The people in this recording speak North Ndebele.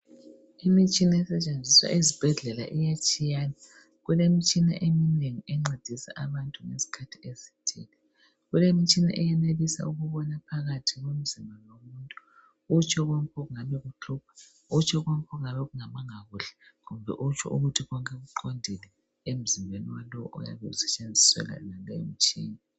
Imitshina esentshenziswa ezibhedlela iyatshiyana. Kulemitshina eminengi encedisa abantu ngesikhathi ezithile. Kulemitshina eyenelisa ukubona phakathi komzimba womuntu, otsho konke okungabe kumhlupha, utsho konke okungabe kungamanga kuhle kumbe utsho konke okungabe kuqondile emzimbeni yalowo oyabe esentshenziselwa imitshina.